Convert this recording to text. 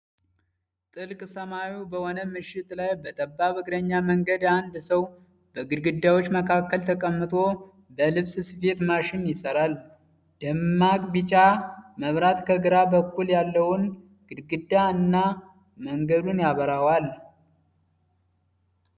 ጥልቅ ሰማያዊ በሆነ ምሽት ላይ በጠባብ የእግረኛ መንገድ አንድ ሰው በግድግዳዎች መካከል ተቀምጦ በልብስ ስፌት ማሽን ይሰራል። ደማቅ ቢጫ መብራት ከግራ በኩል ያለውን ግድግዳ እና መንገዱን ያበራዋል።